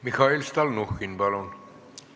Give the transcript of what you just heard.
Mihhail Stalnuhhin, palun!